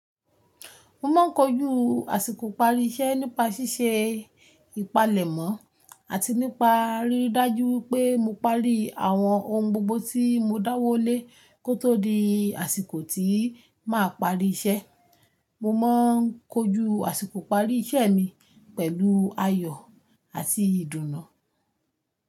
Mo máa ń kojú àsìkò ìparí iṣẹ́ nípa ṣíṣe ìpalẹ̀mọ́ àti nípa ríri dájú pé mo parí àwọn ohun gbogbo tí mo dáwọ́lé kó tó di àsìkò tí màá parí iṣẹ́. Mo má ń kojú àsìkò ìparí iṣẹ́ mi pẹ̀lú ayọ̀ àti ìdùnnú.